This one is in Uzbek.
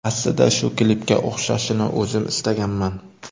Aslida shu klipga o‘xshashini o‘zim istaganman.